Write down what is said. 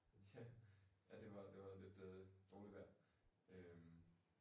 Ja. Ja det var det var lidt øh dårligt vejr øh